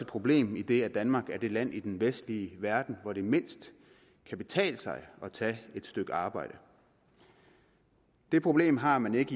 problem idet danmark er det land i den vestlige verden hvor det mindst kan betale sig at tage et stykke arbejde det problem har man ikke